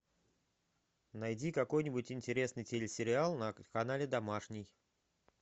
найди какой нибудь интересный телесериал на канале домашний